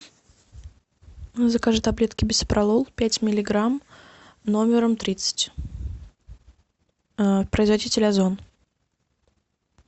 закажи таблетки бисопролол пять миллиграмм номером тридцать производитель озон